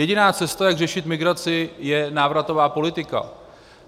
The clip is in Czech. Jediná cesta, jak řešit migraci, je návratová politika.